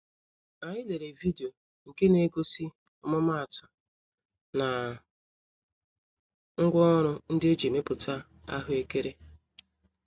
Anyị lere video nke negosi ọmụma-atụ, na ngwá ọrụ ndị eji emepụta ahụekere.